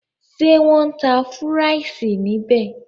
Ṣé wọn ń tá fúráìsì níbí?